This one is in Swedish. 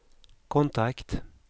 kontakt